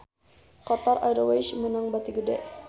Qatar Airways meunang bati gede